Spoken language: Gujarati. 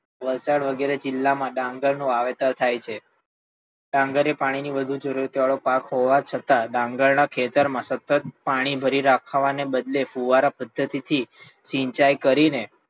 વલસાડ વગેરે જિલ્લા માં ડાંગર નું વાવેતર થાય છે. ડાંગર એ પાણી ની વધુ જરૂરત વાળો પાક હોવા છતાં ડાંગર ના ખેતર માં સતત પાણી ભરી રાખવાને બદલે ફુવારા પદ્ધતિ થી સિંચાઈ કરી ને,